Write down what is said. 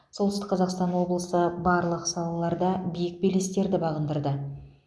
солтүстік қазақстан облысы барлық салаларда биік белестерді бағындырды